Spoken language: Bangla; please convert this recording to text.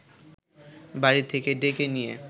বাড়ি থেকে ডেকে নিয়ে